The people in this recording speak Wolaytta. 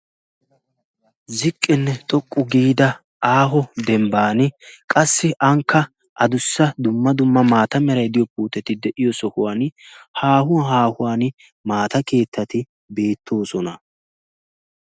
ziqqinne xoqqu giida aaho dembban qassi aanikka a dussa dumma dumma maata meraidiyo puuteti de7iyo sohuwan haahuwan haahuwan maata keettati beettoosona.